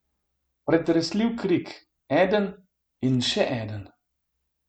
Pretresljiv krik, eden, in še eden.